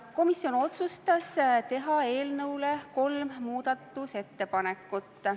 Komisjon otsustas teha eelnõu kohta kolm muudatusettepanekut.